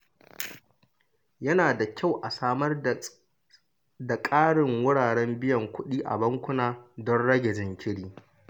Yana da kyau a samar da ƙarin wuraren biyan kuɗi a bankuna don rage jinkiri.